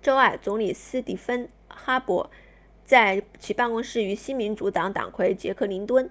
周二总理斯蒂芬哈珀 stephen harper 在其办公室与新民主党党魁杰克林顿 jack layton